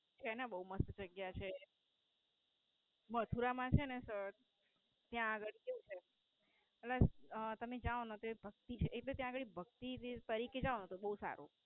ત્યાં ના બોવ મસ્ત જગ્યા છે. મથુરા માં છે ને ત્યાં અગર કેવું છે. ત્યાં આગળ ભક્તિ છે ને ભક્તિ જાઓ ને તો બોવ સારું.